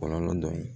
Kɔlɔlɔ dɔ ye